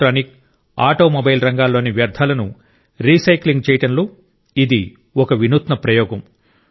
electronic automobile రంగాల్లోని వ్యర్థాలను recycling చేయడంలో ఇది ఒక వినూత్న ప్రయోగం